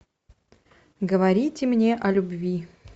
говорите мне о любви